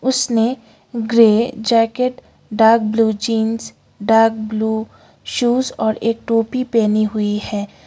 उसने grey jacket dark blue jeans dark blue shoes और a टोपी पहनी हुई है।